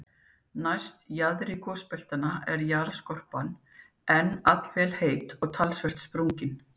Næst jaðri gosbeltanna er jarðskorpan enn allvel heit og talsvert sprungin.